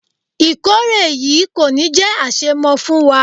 Ìkórè yìí kò ní jé àṣemọ fún wa.